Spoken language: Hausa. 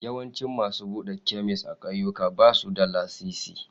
Yawancin masu buɗe kemis a ƙauyuka ba su da lasisi.